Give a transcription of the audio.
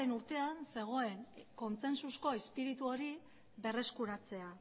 urtean zegoen kontzentzuzko irizpide hori berreskuratzea